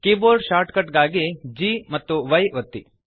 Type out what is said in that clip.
keyboard shortcut ಗಾಗಿ ಗಾಂಪಿ ಒತ್ತಿ